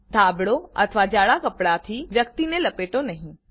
ધાબળો અથવા જાડા કપડાં વ્યક્તિ લપેટો નહી